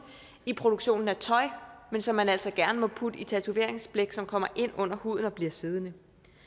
i produktionen af tøj men som man altså gerne må putte i tatoveringsblæk som kommer ind under huden og bliver siddende